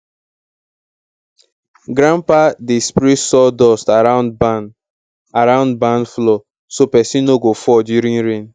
grandpa dey spray sawdust around barn around barn floor so pesin no go fall during rain